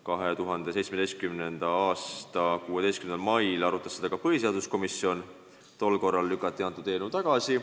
Põhiseaduskomisjon arutas seda 2017. aasta 16. mail, tol korral lükati eelnõu tagasi.